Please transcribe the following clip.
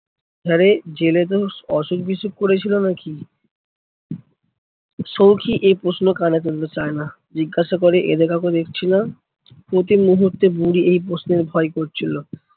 হ্যাঁ রে জেলে তোর অসুখ বিসুখ করেছিল নাকি? সৌখী এই প্ৰশ্ন কানে তুলতে চায়না, জিজ্ঞাসা করে এদের কাউকে দেখছিনা? প্রতি মুহূর্তে বুড়ি এই প্রশ্নের ভয় করছিলো।